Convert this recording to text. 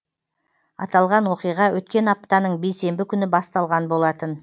аталған оқиға өткен аптаның бейсенбі күні басталған болатын